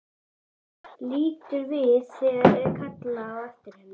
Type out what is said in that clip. Lítur við þegar það er kallað á eftir henni.